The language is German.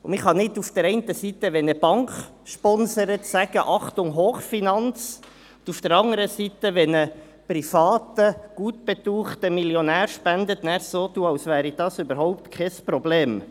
Man kann nicht auf der einen Seite, wenn eine Bank sponsert, sagen, «Achtung Hochfinanz», und auf der anderen Seite, wenn ein privater, gut betuchter Millionär spendet, so tun, als wäre das überhaupt kein Problem.